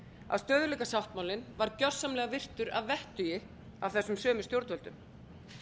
að stöðugleikasáttmálinn var gjörsamlega virtur að vettugi af þessum sömu stjórnvöldum